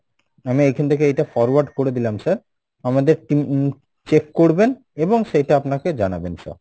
আমি এখান থেকে এটা forward করে দিলাম sir আমাদের team check করবেন এবং সেটা আপনাকে জানাবেন sir